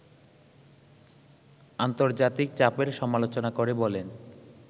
আন্তর্জাতিক চাপের সমালোচনা করে বলেন